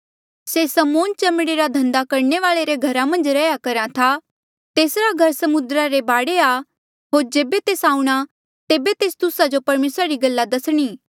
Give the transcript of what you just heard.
से समौन चमड़े रा धन्दा करणे वाले रे घरा मन्झ रैहया करहा तेसरा घर समुद्रा रे बाढे आ होर जेबे तेस आऊंणा तेबे तेस तुस्सा जो परमेसरा री गल्ला दसणी